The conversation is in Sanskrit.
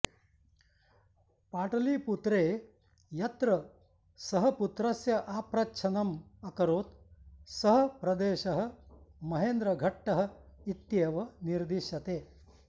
पाटलीपुत्रे यत्र सः पुत्रस्य आप्रच्छनम् अकरोत् सः प्रदेशः महेन्द्रघट्टः इत्येव निर्दिश्यते